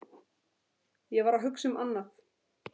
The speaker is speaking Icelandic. Ég var að hugsa um annað.